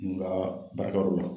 N ka baarakɛ yɔrɔ la.